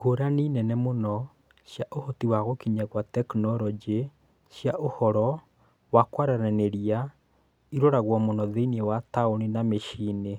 Ngũrani nene mũno cia ũhoti wa gũkinya kwa tekinoronjĩ cia ũhoro wa kũaranĩrĩa ĩroragwo muno thĩinĩ wa taũni na mĩciĩ-inĩ